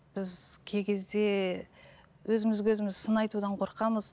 біз кей кезде өзімізге өзіміз сын айтудан қорқамыз